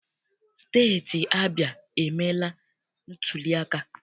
Steeti Abịa emeela ntuliaka.